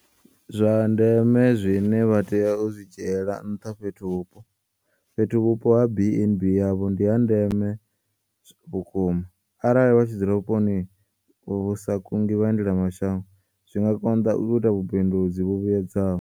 Zwa ndeme zwine vha tea u zwi dzhiela nṱhaFhethuvhupo - Fhethuvhupo ha BandB yavho ndi ha ndeme vhukuma. Arali vha tshi dzula vhuponi vhu sa kungi vhaendelamashango, zwi nga konḓa u ita vhubindudzi vhu vhuedzaho.